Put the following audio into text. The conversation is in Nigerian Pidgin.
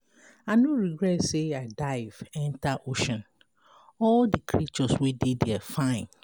I no regret say I dive enter ocean, all the creatures wey dey there fine.